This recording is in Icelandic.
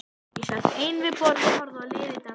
Ég sat ein við borð og horfði á liðið dansa.